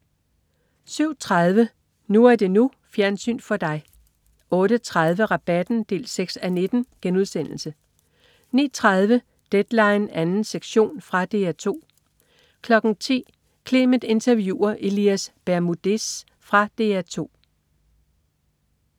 07.30 NU er det NU. Fjernsyn for dig 08.30 Rabatten 6:19* 09.30 Deadline 2. sektion. Fra DR 2 10.00 Clement interviewer Elias Bermudez. Fra DR2